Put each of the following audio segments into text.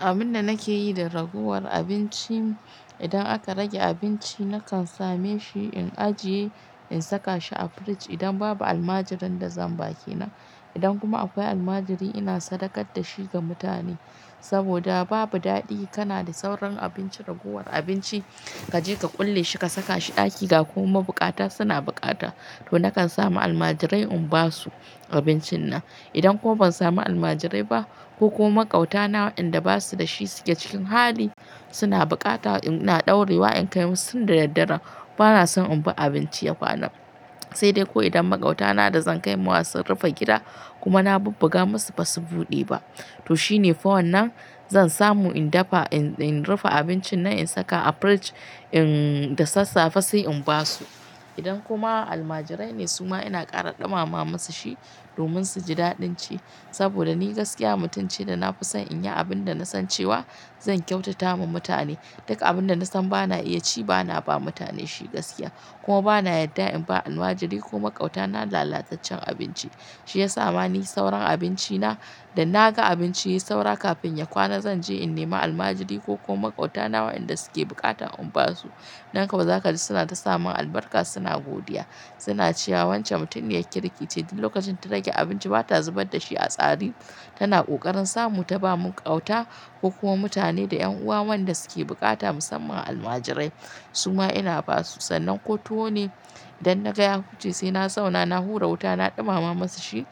Abin da nake yi da ragowar abinci, idan aka rage abinci nakan same shi in ajiye in saka shi a fridge idan babu almajirai da zan ba ke nan. Idan kuma akwai almajiri ina sadakar da shi ga mutane. Saboda babu daɗi kana da sauran abinci ragowar abinci kaje ka kulle shi ka saka shi ɗaki ga kuma mabukata suna bukata to nakan samu almajirai in ba su abincin nan. Idan ko ban samu almajirai ba ko kuma maƙauta na wayanda ba su da shi suke cikin hali suna bukata ina ɗaurewa in kai musu da daddare bana son in bi abinci ya kwana. Sai dai ko idan maƙautana da zan kai ma sun rufe gida kuma na bubbuga musu ba su buɗe ba. To shine for nan zan samu in dafa in in rufe abincin nan in saka a fridge in da sassafe sai in ba su. Idan kuma almajirai ne su ma ina ƙara ɗumama musu shi domin su ji daɗin ci. Saboda ni gaskiya mutum ce da na fi son in yi abin da na san cewa zan kyautata ma mutane. Duka abin da na san bana iya ci bana ba mutane shi gaskiya. Kuma bana yadda in ba almajiri ko maƙautana lalataccen abinci. Shi ya sa ma ni sauran abinci na da naga abinci ya yi saura kafin ya kwana zanje in nema almajiri ko kuma makautana wa inda suke bukata in ba su. Nan ko za ka ji suna ta samun albarka suna godiya. Suna cewa wancan mutumin ya ƙirkiace duk lokacin ta rage abinci ba ta zubar da shi a tsari. Tana ƙoƙarin sa mu ta ba mu ƙauta ko kuma mutane da ƴan uwa wanda suke bukata musamman almajirai. Su ma ina ba su sannan ko tuwo ne idan naga ya huce sai na zauna na hura wuta na ɗumama musu shi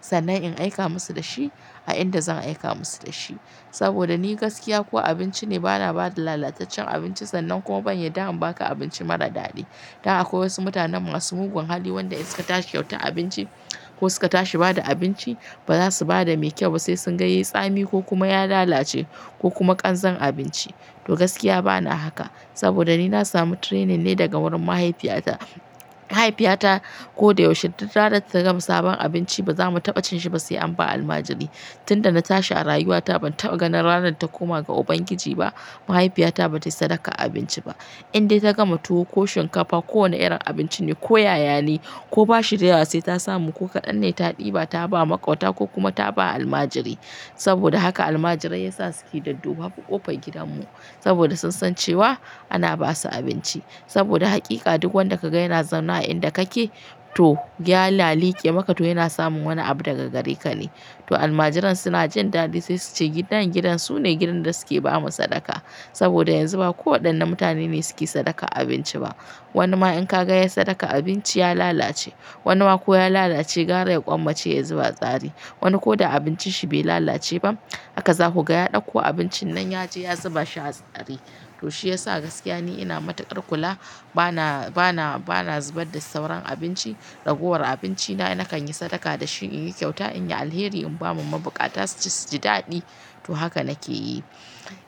sannan in aika musu da shi a inda zan aika musu da shi. Saboda ni gaskiya ko abinci ne bana ba da lalataccen abinci sannan kuma ban yadda in baka abinci marar daɗi. Don aƙwai wasu mutanen masu mugun hali wanda in suka tashi kyauta abinci ko suka tashi bada abinci ba za su bada me kyau ba sai sun ga yayi tsami ko kuma ya lalace ko kuma ƙanzan abinci. To gaskiya bana haka saboda ni na samu training ne daga wurin mahaifiyata. Mahaifiyata ko da yaushe duk rana ta gama sabon abinci ba zamu taɓa cin shi ba sai an ba almajiri. Tunda na tashi a rayuwata ban taɓa ganin ranar ta koma ga Ubangiji ba mahaifiyata ba ta sadaka abinci ba. Indai ta gama tuwo ko shinkafa ko wane irin abinci ne ko ƴaƴa ne ko bashirawa sai ta samu ko kaɗan ne ta ɗiba ta ba maƙauta ko kuma ta ba almajiri. Saboda haka almajirai yasa suke dadduba a ƙofar gidanmu. Saboda san san cewa ana ba su abinci. Saboda hakika duk wanda ka ga yana zaune a inda kake to gyala liƙe maka to yana samun wani abu daga gare ka ne. To almajiran suna jin daɗi sai su ce gidan gidan su ne gidan da suke ba mu sadaka. Saboda yanzu ba ko waɗannan mutane ne suke sadaka abinci ba. Wani ma in ka ga ya sadaka abinci ya lalace. Wani ma ko ya lalace gara ya ƙwanmace ya zuba a tsari. Wani ko da abinci shi bai lalace ba haka za ku ga ya ɗauko abincin nan ya je ya zuba shi a tsari. To shi ya sa gaskiya ni ina matuƙar kula bana bana bana zubar da sauran abinci ragowar abinci na nakan yi sadaka da shi in yi kyauta in yi alheri in ba ma mabukata su su ji daɗi. To haka nake yi.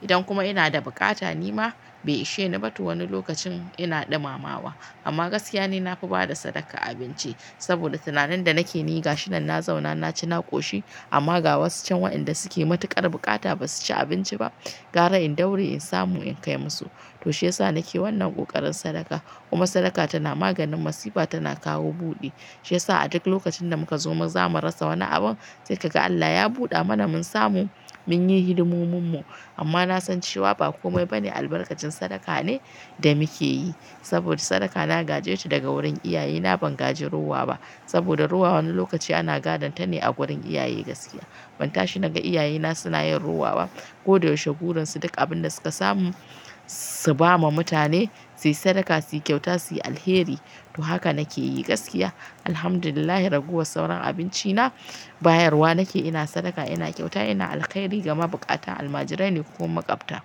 Idan kuma ina da bukata ni ma bai ishe ni ba to wani lokacin ina ɗumamawa. Amma gaskiya ne na fi bada sadaka abinci. Saboda tunani da nake niga shi nan na zauna na ci na ƙoshi amma ga wasu can wa inda suke matuƙar bukata ba su ci abinci ba gara in daure in samu in kai musu. To shi ya sa nake wannan ƙoƙarin sadaka kuma sadaka tana maganin masifa tana kawo buɗi. Shi ya sa a duk lokacin da muka zo mu zamu rasa wani abu sai ka ga Allah ya buɗe mana mun samu mun yi hidimomin mu. Amma na san cewa ba komai ba ne albarkacin sadaka ne da muke yi. Saboda sadaka na gaje ta daga wurin iyaye na ban gaji rowa ba. Saboda ruwa wani lokaci ana gadon ta ne a gurin iyaye gaskiya. Ban tashi naga iyaye na suna yin rowa ba ko da yaushe burinsu duk abin da suka samu su ba ma mutane sai sadaka sai kyauta sai alheri. To haka nake yi gaskiya. Alhamdulillah raguwar sauran abinci na bayarwa nake ina sadaka ina kyauta ina alkhairi gama bukata almajirai ne ko maƙwabta.